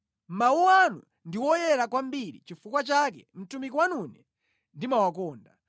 Mawu anu ndi woyera kwambiri nʼchifukwa chake mtumiki wanune ndimawakonda.